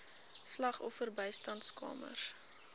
slagoffer bystandskamers